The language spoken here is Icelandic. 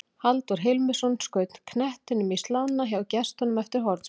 Halldór Hilmisson skaut knettinum í slána hjá gestunum eftir hornspyrnu.